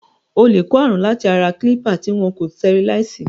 O lè kó ààrùn láti ara kílípà tí wọn kò sitẹriláìsì.